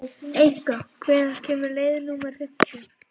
Enika, hvenær kemur leið númer fimmtíu?